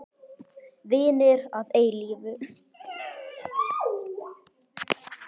Vinir að eilífu.